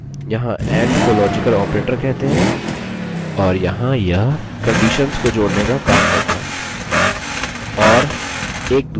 और यहाँ यह conditions को जोड़ने का काम करता है or एक दूसरा logical operator है